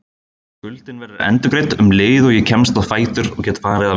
Skuldin verður endurgreidd um leið og ég kemst á fætur og get farið að vinna.